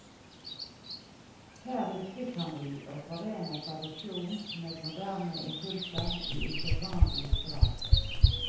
Her lykkes han i å forene tradisjon med moderne impulser i usedvanlig grad.